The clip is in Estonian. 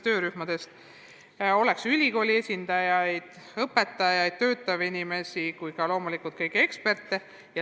Seal oleks ülikooli esindajaid, õpetajaid ja loomulikult kõiki eksperte.